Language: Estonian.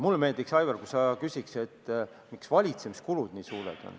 Mulle meeldiks, Aivar, kui sa küsiks, miks valitsemiskulud nii suured on.